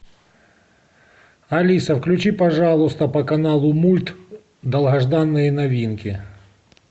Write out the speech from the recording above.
алиса включи пожалуйста по каналу мульт долгожданные новинки